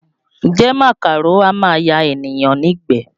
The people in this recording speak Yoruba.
Ǹjẹ́ màkàró á máa ya ènìyàn nígbẹ̀ẹ?